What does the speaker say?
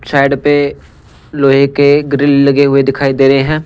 Side पे लोहे के ग्रिल लगे हुए दिखाई दे रहा है।